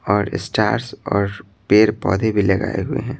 और स्टार्स और पेड़ पौधे भी लगाए हुए हैं।